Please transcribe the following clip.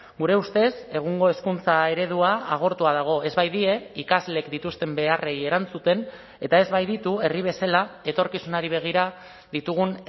gure ustez egungo hezkuntza eredua agortua dago ez baitie ikasleek dituzten beharrei erantzuten eta ez baititu herri bezala etorkizunari begira ditugun